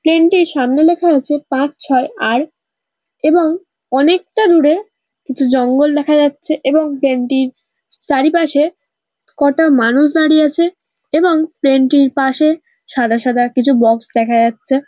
Plane -টির সামনে লেখা আছে পাঁচ ছয় আর এবং অনেকটা দূরে কিছু জঙ্গল দেখা যাচ্ছে এবং প্লেন -টির চারিপাশে কটা মানুষ দাঁড়িয়ে আছে এবং প্লেনটির পাশে সাদা সাদা কিছু বক্স দেখা যাচ্ছে।